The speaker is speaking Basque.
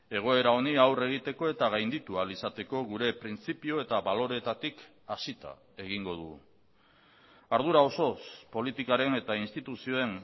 egoera honi aurre egiteko eta gainditu ahal izateko gure printzipio eta baloreetatik hasita egingo dugu ardura osoz politikaren eta instituzioen